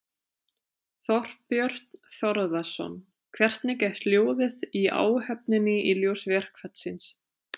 Þorbjörn Þórðarson: Hvernig er hljóðið í áhöfninni í ljósi verkfallsins?